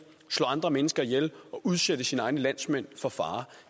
slå andre mennesker ihjel og udsætte sine egne landsmænd for fare